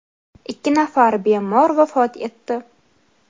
ikki nafar bemor vafot etdi.